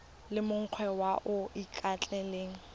le mongwe yo o ikaelelang